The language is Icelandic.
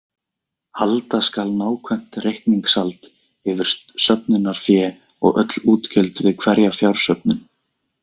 Halda skal nákvæmt reikningshald yfir söfnunarfé og öll útgjöld við hverja fjársöfnun.